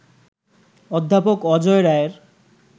অধ্যাপক অজয় রায়ের